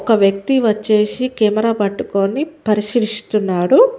ఒక వ్యక్తి వచ్చేసి కెమెరా పట్టుకొని పరిశీలిస్తున్నాడు.